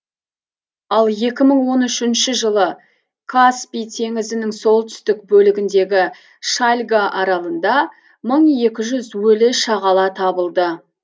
ал екі мың он үшінші жылы каспий теңізінің солтүстік бөлігіндегі шальга аралында мың екі жүз өлі шағала табылды